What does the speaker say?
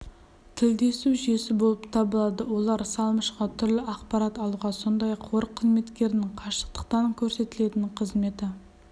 тілдесу жүйесі болып табылады олар салымшыға түрлі ақпарат алуға сондай-ақ қор қызметкерінің қашықтықтан көрсетілетін қызметі